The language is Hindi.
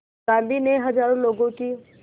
गांधी ने हज़ारों लोगों की